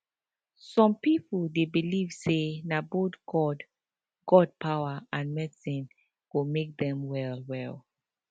some people dey believe say na both god god power and medicine go make dem well well